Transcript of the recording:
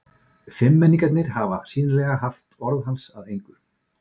Fimmmenningarnir hafa sýnilega haft orð hans að engu.